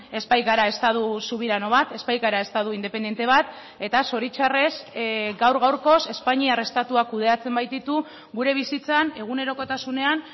ez baikara estatu subirano bat ez baikara estatu independente bat eta zoritzarrez gaur gaurkoz espainiar estatuak kudeatzen baititu gure bizitzan egunerokotasunean